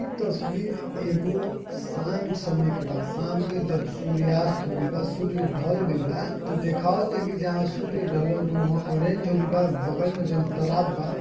इ तस्वीर एगो शाम समय के बा। शाम के जब सूर्यास्त हो गइल बा। सूर्य ढल गइल बा। त देखावता की जहाँ सूर्य ढलल बा ऊहा ऑरेंज हो गइल बा। बगल मे जोवन तालाब बा --